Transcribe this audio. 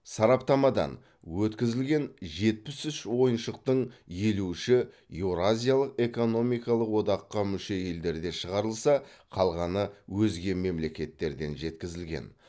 сараптамадан өткізілген жетпіс үш ойыншықтың елу үші еуразиялық экономикалық одаққа мүше елдерде шығарылса қалғаны өзге мемлекеттерден жеткізілген